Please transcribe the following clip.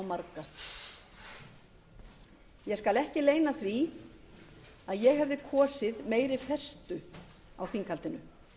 marga ég skal ekki leyna því að ég hefði kosið meiri festu á þinghaldinu